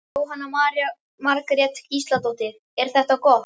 Jóhanna Margrét Gísladóttir: Er þetta gott?